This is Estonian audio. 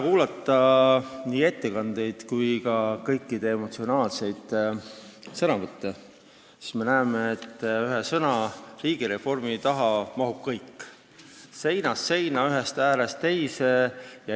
Kuulates nii tänaseid ettekandeid kui ka kõiki emotsionaalseid sõnavõtte, sai selgeks, et ühe sõna alla, sõna "riigireform" alla mahub kõik, seinast seina, ühest äärest teise.